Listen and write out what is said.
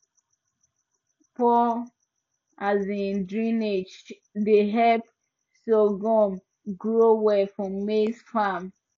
poor um drainage dey help sorghum grow well for maize farm